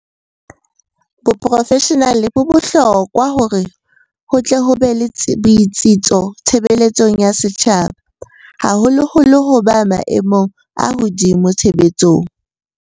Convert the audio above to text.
Boprofeshenale bo bohlo kwa hore ho tle ho be le botsitso tshebeletsong ya setjhaba, haholoholo ho ba maemong a hodimo tshebetsong.